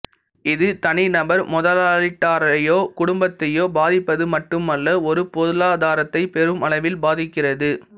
இது தனிநபர் முதலீட்டாளரையோ குடும்பத்தையோ பாதிப்பது மட்டுமல்ல ஒரு பொருளாதாரத்தை பெரும் அளவில் பாதிக்கிறது